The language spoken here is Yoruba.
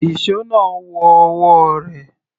Ìṣó náà wọ ọwọ́ rẹ̀.